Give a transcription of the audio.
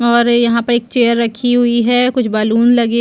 और यहाँ पर एक चेयर रखी हुई है कुछ बलून लगे --